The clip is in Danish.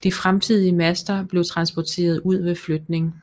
De fremtidige master blev transporteret ud ved fløtning